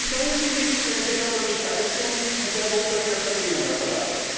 Warum tun Sie nichts, wenn Sie schon so gescheit sind und sehr gut dafür verdienen, Herr Farage?